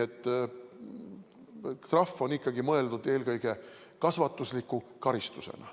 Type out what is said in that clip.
Trahv on ikkagi mõeldud eelkõige kasvatusliku karistusena.